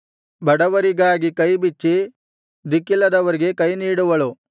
ಬಡವರಿಗಾಗಿ ಕೈ ಬಿಚ್ಚಿ ದಿಕ್ಕಿಲ್ಲದವರಿಗೆ ಕೈ ನೀಡುವಳು